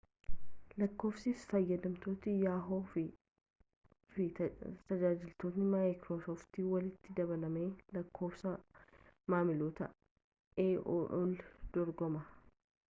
lakkoofsi fayyadamtoota yahoo fi tajaajiloota maayikiroosooft walitti dabalamee lakkoofsa maamiloota aol dorgoma